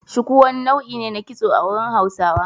Shuku wani nau'i ne na kitso a wurin Hausawa.